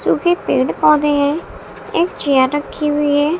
सूखे पेड़ पौधे हैं एक चेयर रखी हुई है।